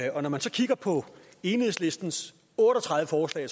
når man så kigger på enhedslistens otte og tredive forslag